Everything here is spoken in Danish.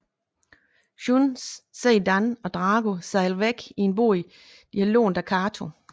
Shun ser Dan og Drago sejle væk i en båd de har lånt af Kato